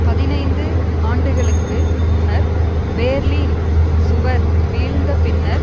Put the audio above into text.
பதினைந்து ஆண்டுகளுக்கு முன்னர் பேர்லீன் சுவர் வீழ்ந்த பின்னர்